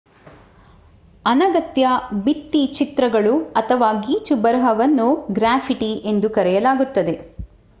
ಅನಗತ್ಯ ಭಿತ್ತಿಚಿತ್ರಗಳು ಅಥವಾ ಗೀಚುಬರಹವನ್ನು ಗ್ರಾಫಿಟಿ ಎಂದು ಕರೆಯಲಾಗುತ್ತದೆ